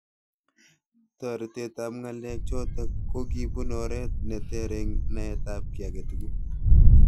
Toretet ab ng'alek chotok kokibun oret neter eng naet ab ki age tugul.